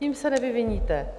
Tím se nevyviníte.